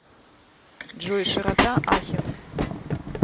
джой широта ахен